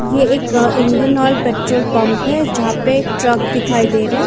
ये एक Indian Oil petrol pump है जहाँ पे एक ट्रक दिखाई दे रहे है।